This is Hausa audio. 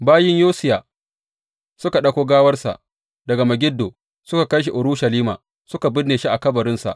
Bayin Yosiya suka ɗauko gawarsa daga Megiddo suka kai Urushalima, suka binne shi a kabarinsa.